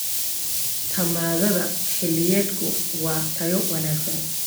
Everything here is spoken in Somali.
Tamaandhada xilliyeedku waa tayo wanaagsan.